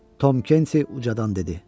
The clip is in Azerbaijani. Tom Kenti ucadan dedi: